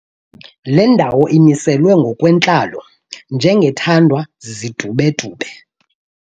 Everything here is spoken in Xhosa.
Le ndawo imiselwe ngokwentlalo njengethandwa zizidubedube.